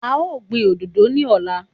A ó gbin òdodo ní ọ̀la.